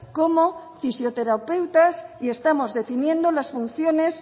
como fisioterapeutas y estamos definiendo las funciones